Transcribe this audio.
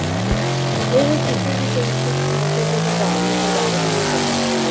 ਇਹ ਕਿਸੇ ਵੀ ਤਰੀਕੇ ਨਾਲ ਨਸ਼ੇ ਦੇ ਪ੍ਰਭਾਵ ਨੂੰ ਪ੍ਰਭਾਵਤ ਨਹੀਂ ਕਰਦਾ